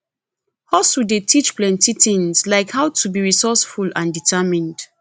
hustle dey teach plenty tings like how to be resourceful and determined